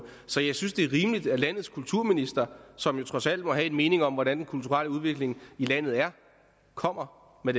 så jeg synes det er rimeligt at landets kulturminister som jo trods alt må have en mening om hvordan den kulturelle udvikling i landet er kommer med